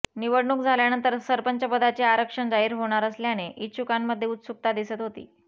निवडणूक झाल्यानंतर सरपंचपदाचे आरक्षण जाहीर होणार असल्याने इच्छुकांमध्ये उत्सुकता दिसत होती